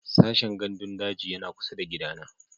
Sashen gandun daji yana kusa da gidana